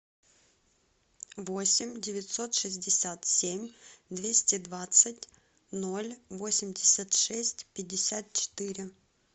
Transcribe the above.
восемь девятьсот шестьдесят семь двести двадцать ноль восемьдесят шесть пятьдесят четыре